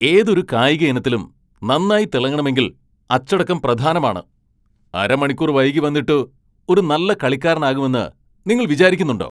ഏതൊരു കായിക ഇനത്തിലും നന്നായി തിളങ്ങണമെങ്കിൽ അച്ചടക്കം പ്രധാനമാണ്. അരമണിക്കൂർ വൈകി വന്നിട്ട് ഒരു നല്ല കളിക്കാരനാകുമെന്ന് നിങ്ങൾ വിചാരിക്കുന്നുണ്ടോ ?